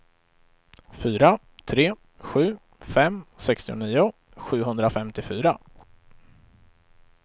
fyra tre sju fem sextionio sjuhundrafemtiofyra